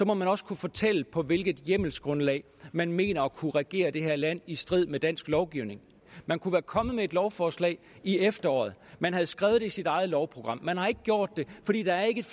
må man også kunne fortælle på hvilket hjemmelsgrundlag man mener at kunne regere det her land i strid med dansk lovgivning man kunne være kommet med et lovforslag i efteråret man havde skrevet det i sit eget lovprogram man har ikke gjort det fordi der ikke